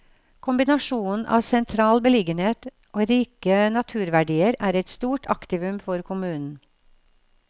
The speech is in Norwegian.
Kombinasjonen av sentral beliggenhet og rike naturverdier er et stort aktivum for kommunen.